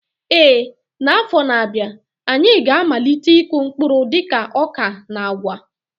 Ee, n'afọ na-abịa, anyị ga-amalite ịkụ mkpụrụ dịka ọka na agwa.